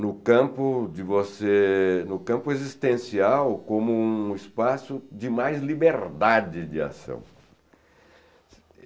no campo de você existencial como um espaço de mais liberdade de ação.